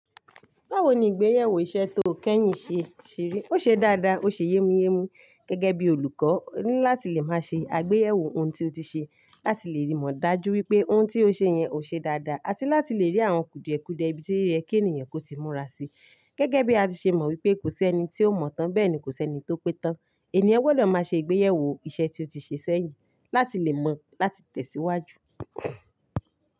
Báwo ni ìgbéyàwó iṣẹ́ tó kẹ́yìn ṣe ṣeré? Ó ṣe dáadáa, ó ṣe yémúyémú. Gẹ́gẹ́ bí olùkọ́, oní láti lè máa ṣe àgbéyẹ̀wò ohun tí o ti ṣe láti lè rí mọ̀ dájú wípé ohun tí o ṣe yẹn o ṣe dáadáa, àti láti lè rí àwọn kùdìẹ̀kùdìẹ̀ ibi tí rẹ kí ènìyàn kó tí múra sí. Gẹ́gẹ́ bí a ti ṣe mọ̀ wípé kò sí ẹni tí o mọ̀ tán bẹ́ẹ̀ ni kò sí ẹni tó pé tán. Ẹ̀níyàn gbọ́dọ̀ máa ṣe ìgbéyẹ̀wò iṣẹ́ tí o ti ṣe sẹ́yìn láti lè mọ̀ láti tẹ̀síwájú.